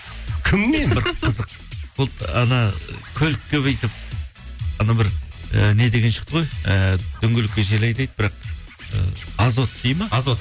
кімнен қызық болды көлікке бүйтіп бір і не деген шықты ғой ііі дөңгелекке жел айдайды бірақ ы азот дейді ме азот